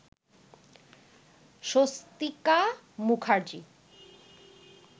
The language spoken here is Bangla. স্বস্তিকা মুখার্জি